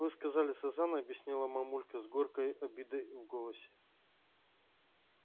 вы сказали сазан объяснила мамулька с горькой обидой в голосе